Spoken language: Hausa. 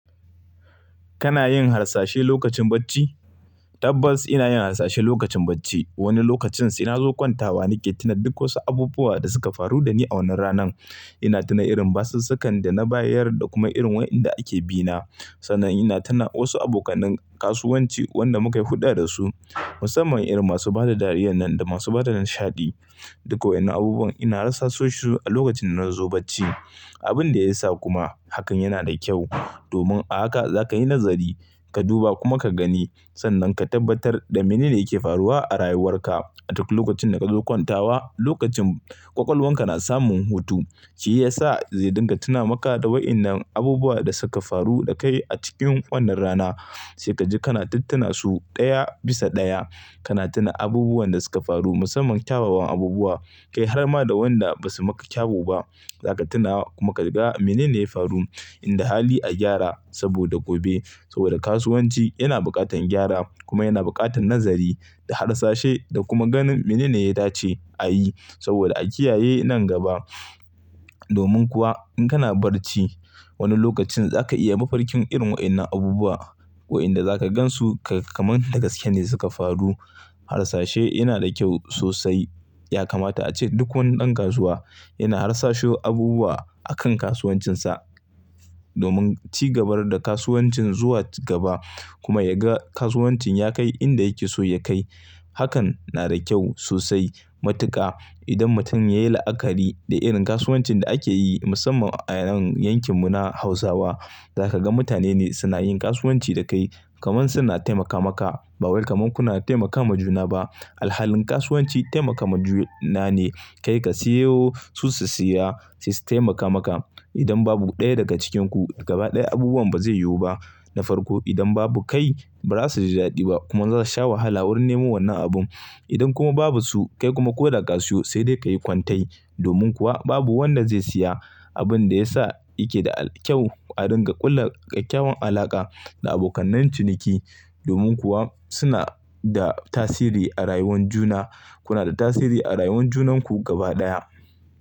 Kana yin harsashi lokacin bacci? Tabbas ina yin harsashi lokacin bacci. Wani lokacin sai na zo kwantawa nake tuna duk wasu abubuwan da suka faru da ni a wannan ranan. Ina tuna irin batsasakan da na bayyayar da kuma irin waɗanda ake bi na. Sannan ina tuna wasu abokanin kasuwanci wanda muka yi hulɗa da su, musamman irin masu bada dariya nan da masu bada nishaɗi. Duka waɗannan abubuwan ina rasa su a lokacin da nazo bacci. Abin da ya sa kuma hakan yana da kyau, domin a haka za ka yi nazari, ka duba kuma ka gani sannan ka tabbatar da mene ne yake faruwa a rayuwar ka. A duk lokacin da kazo kwantawa, lokacin ƙwaƙwalwar ka na samun hutu, shi ya sa zai dinga tuna maka da waɗannan abubuwan da suka faru da kai a cikin wannan rana. Sai kaji kana tuntuna su ɗaya bisa ɗaya, kana tuna abubuwan da suka faru musamman kyawawan abubuwa, kai har ma da waɗanda ba su maka kyau ba, za ka tuna kuma ka ga mene ne ya faru, inda hali a gyara saboda gobe. Saboda kasuwanci yana buƙatar gyara kuma yana buƙatar nazari da harsashai da kuma ganin mene ne ya dace a yi, saboda a kiyaye nan gaba. Domin kuwa in kana barci, wani lokacin za ka iya mafarkin irin waɗannan abubuwa, waɗanda za ka gan su kamar dagaske ne suka faru. Harsashe yana da kyau sosai, ya kamata ace duk wani ɗan kasuwa yana harsasho abubuwa akan kasuwancin sa, domin cigabar da kasuwancin zuwa gaba, kuma ya ga kasuwancin ya kai inda yake so ya kai. Hakan na da kyau sosai. Matuka idan mutum ya yi la'akari da irin kasuwancin da ake yi musamman a nan yankin mu na Hausawa, za ka ga mutane ne suna yin kasuwanci da kai, kamar suna taimaka maka. Ba wai kamar kuna taimaka ma juna ba. Alhalin kasuwanci taimaka ma juna ne, kai ka siyo su su siya, su su taimaka maka. Idan babu ɗaya daga cikin ku gaba ɗaya abubuwan ba zai yiwu ba. Na farko idan babu kai ba za su ji daɗi ba kuma za su sha wahala wurin nemo wannan abun. Idan kuma babu su kai kuma ko da ka siyo sai dai ka yi kwantai, domin kuwa babu wanda zai siya. Abun da ya sa yake da al-kyau a dinga kulla ƙyaƙƙyawan alaƙa da abokanai ciniki, domin kuwa suna da tasiri a rayuwan juna. Kuna da tasiri a rayuwar junan ku gaba ɗaya.